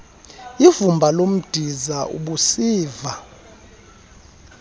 ivumba lomdiza ubusiva